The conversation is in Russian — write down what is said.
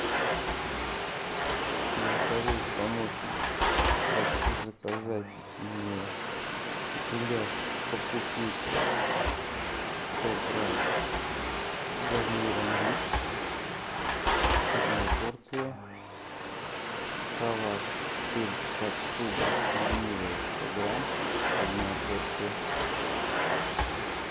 голосовой помощник прошу заказать мне гуляш по купечески сто грамм с гарниром рис одна порция салат сельдь под шубой ленивая сто грамм одна порция